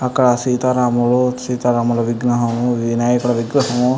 అక్కడ సీత రాముడు సీత రాముల విగ్రహము వినాయకుని విగ్రహము --